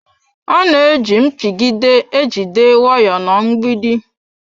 A na-eji mpigide e jide waya na mgbidi.